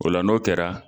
O la n'o kɛra